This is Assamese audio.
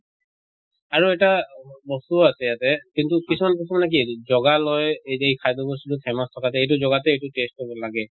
আৰু এটা বস্তু আছে ইয়াতে কিন্তু কিছুমানে বস্তু মানে কি জগা লয় এই যি খাদ্য় বস্তু টো famous থকা এইটো জগাতে এইটো taste কৰিব লাগে।